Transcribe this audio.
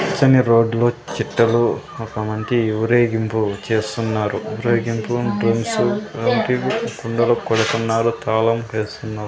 పచ్చని రోడ్ లో చేట్టలు ఒక మంచి ఊరేగింపు చేస్తున్నారు ఊరేగింపు కుండలు కొడుతున్నారు తాళం వేస్తున్నారు.